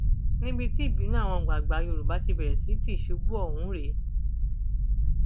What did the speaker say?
níbi tí ìbínú àwọn àgbààgbà yorùbá ti bẹrẹ sí tìṣubú ọhún rèé